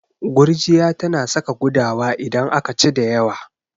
Gurjiya tana saka gudawa idan aka ci da yawa.